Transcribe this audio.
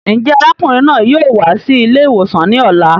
Njẹ arákùnrin náà yóò wá sí ilé ìwòsàn ní ọ̀la?